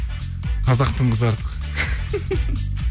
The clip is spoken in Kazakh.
қазақтың қызы артық